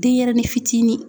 Denyɛrɛnin fitinin